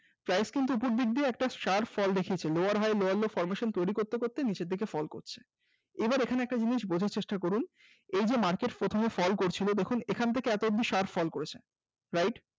price কিন্তু ওপর দিক দিয়ে একটা sharp fall দেখিয়েছে lower high lower low formation তৈরি করতে করতে নিচের দিকে fall করছে এবার এখানে একটা জিনিস বোঝার চেষ্টা করুন। এই যে market প্রথমে fall করছিল ওইখান থেকে এত অব্দি sharp fall করেছে। right